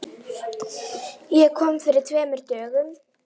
Ég kom fyrir tveimur dögum.